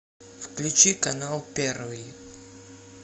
включи канал первый